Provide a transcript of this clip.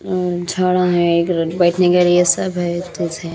अ झाड़ा हैं एक बैठने के सब है --